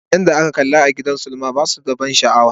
Fina-finan da na kalla a gidan sinima ba su da ban sha'awa.